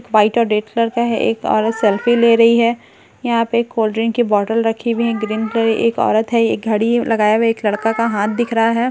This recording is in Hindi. वाइट और डी एस एल आर में एक औरत सेल्फी ले रही है यहां पे एक कोल्ड ड्रिंक की बोतल रखी हुई है ग्रीन कलर की एक औरत है एक घड़ी लगाए हुए एक लड़के का हाथ दिख रहा है ।